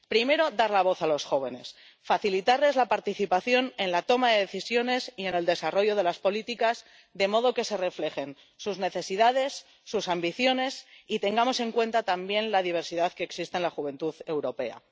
La primera es dar la voz a los jóvenes, facilitarles la participación en la toma de decisiones y en el desarrollo de las políticas, de modo que se reflejen sus necesidades y sus ambiciones y tengamos en cuenta también la diversidad que existe en la juventud europea